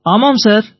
ஆமாம் சார்